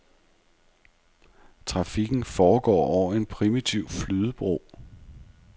Trafikken foregår over en primitiv flydebro.